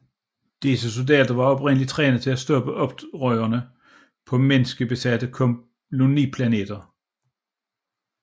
Disse soldater var oprindeligt trænet til at stoppe oprørere på menneskebesatte koloniplaneter